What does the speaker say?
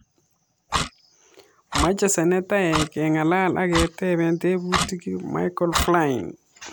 Meche senetaek kengalal ak ketepee tebutik Micheal Flynn